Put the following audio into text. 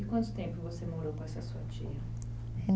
E quanto tempo você morou com essa sua tia?